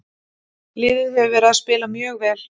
Liðið hefur verið að spila mjög vel.